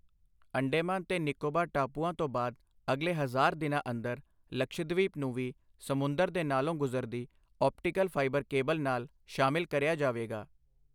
ਅੰਡੇਮਾਨ ਤੇ ਨਿਕੋਬਾਰ ਟਾਪੂਆਂ ਤੋਂ ਬਾਅਦ ਅਗਲੇ ਹਜ਼ਾਰ ਦਿਨਾਂ ਅੰਦਰ, ਲਕਸ਼ਦ੍ਵੀਪ ਨੂੰ ਵੀ ਸਮੁੰਦਰ ਦੇ ਨਾਲੋਂ ਗੁਜਰਦੀ ਆਪਟੀਕਲ ਫ਼ਾਈਬਰ ਕੇਬਲ ਨਾਲ ਸ਼ਾਮਿਲ ਕਰਿਆ ਜਾਵੇਗਾ।